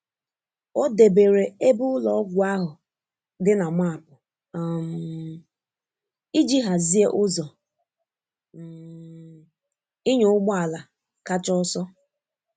O debere ebe ụlọọgwụ ahụ dị na maapụ um iji hazie ụzọ um ịnya ụgbọ ala kacha ọsọ.